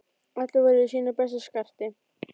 Allir voru í sínu besta skarti.